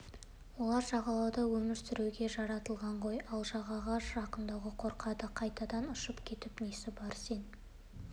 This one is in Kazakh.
олар жағалауда өмір сүруге жаратылған ғой ал жағаға жақындауға қорқады қайтадан ұшып кетіп несі бар сен